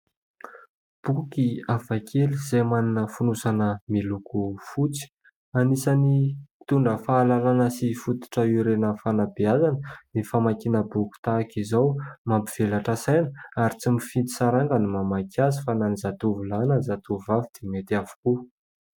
Boky hafakely izay manana fonosana miloko fotsy. Anisan'ny mitondra fahalalana sy fototra iorenan'ny fanabeazana ny famakiana boky tahaka izao. Mampivelatra saina ary tsy mifidy saranga ny mamaky azy fa na ny zatovolahy na ny zatovovavy dia mety avokoa.